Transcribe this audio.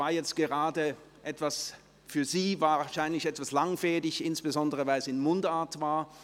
Für Sie war es jetzt wahrscheinlich gerade etwas langfädig, insbesondere, weil es in Mundart war.